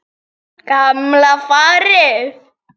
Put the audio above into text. Gamla farið.